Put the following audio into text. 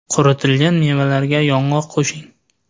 Quritilgan mevalarga yong‘oq qo‘shing.